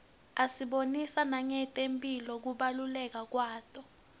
asibonisa nangetemphilo kubaluleka kwato